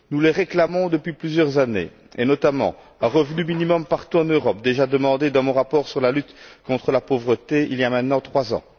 Nous les réclamons depuis plusieurs années, et notamment un revenu minimum partout en Europe, tel que je l'avais déjà demandé dans mon rapport sur la lutte contre la pauvreté, il y a maintenant trois ans